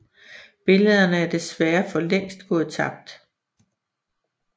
Billederne er desværre for længst gået tabt